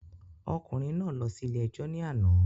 Ọkùnrin náà lọ síle ẹjọ́ ní àná